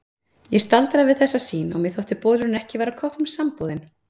Ég staldraði við þessa sýn og mér þótti bolurinn ekki vera kroppnum samboðinn.